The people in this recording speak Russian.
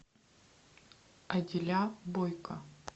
адиля бойко